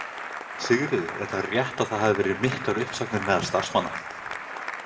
Sigríður: Er það rétt að það hafi verið miklar uppsagnir meðal starfsmanna?